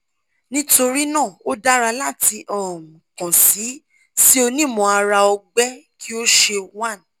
nitorina o dara lati um kan si si onimọ-ara-ọgbẹ ki o ṣe 1